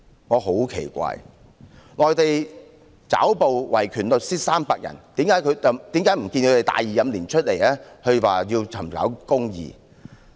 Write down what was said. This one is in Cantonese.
我很奇怪，內地抓捕維權律師300人，為何不見他們大義凜然地公開說要尋找公義？